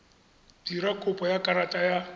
dira kopo ya karata ya